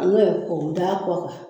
An be k'o da kɔ kan